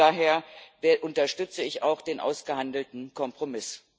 Daher unterstütze ich auch den ausgehandelten Kompromiss.